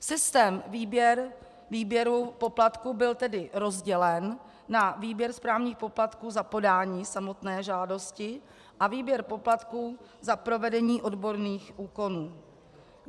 Systém výběru poplatků byl tedy rozdělen na výběr správních poplatků za podání samotné žádosti a výběr poplatků za provedení odborných úkonů.